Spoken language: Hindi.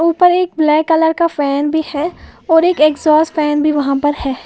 ऊपर एक ब्लैक कलर का भी है और एक एग्जॉस्ट फैन भी वहां पर है।